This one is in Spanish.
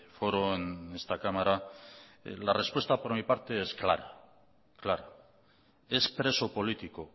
foro en esta cámara la respuesta por mi parte es clara es preso político